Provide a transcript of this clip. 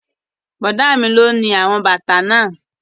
Bọ̀dá mi lo ni àwọn bàtà náà